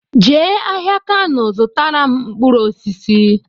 Jee ahịa Kano zụtara m mkpụrụ osisi!